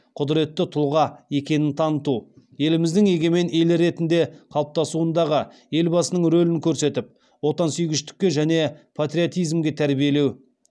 құдіретті тұлға екенін таныту еліміздің егемен ел ретінде қалыптасуындағы елбасының рөлін көрсетіп отансүйгіштікке және патриотизмге тәрбиелеу